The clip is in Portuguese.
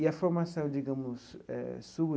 E a formação digamos eh sua.